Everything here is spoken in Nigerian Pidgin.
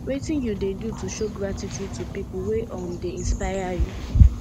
wetin you dey do to show gratitude to people wey um dey inspire you